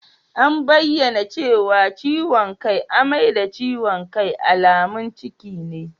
An bayyana cewa ciwon kai, amai da ciwon kai alamun ciki ne.